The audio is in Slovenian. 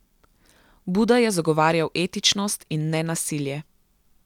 Buda je zagovarjal etičnost in nenasilje.